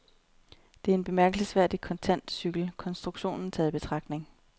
Det er en bemærkelsesværdig kontant cykel, konstruktionen taget i betragtning.